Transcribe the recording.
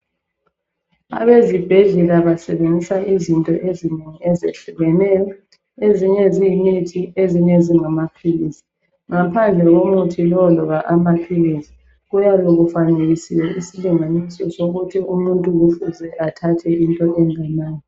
abezibhedlela basebenzisa izinto ezinengi ezehlukeneyo ezinye ziyimithi ezinye zingamaphilisi ngaphandle komuthilowu kumbe amphilisi kuyabe kufanekisiwe isilinganiso sokuthi umuntu kufuze athathe into enganani